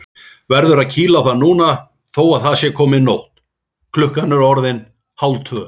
Verður að kýla á það núna þó að það sé komin nótt, klukkan orðin hálftvö.